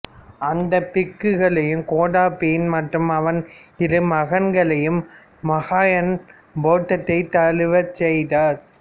அந்த பிக்குகளையும் கோதாபயன் மற்றும் அவன் இரு மகன்களையும் மகாயான பௌத்தத்தைத் தழுவச் செய்தார்